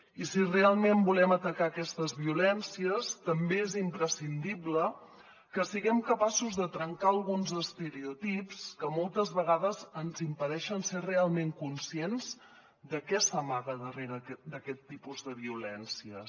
i si realment volem atacar aquestes violències també és imprescindible que siguem capaços de trencar alguns estereotips que moltes vegades ens impedeixen ser realment conscients de què s’amaga darrere d’aquest tipus de violències